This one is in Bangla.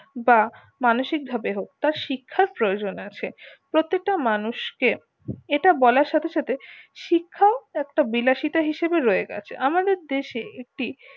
বা মানুষিক ভাবে হোক তার শিক্ষার প্রয়োজন আছে প্রত্যেক টা মানুষকে এটার বলার সাথে সাথে শিক্ষা একটা বিলাসিতা হিসাবে রয়ে গেছে আমাদের দেশে একটি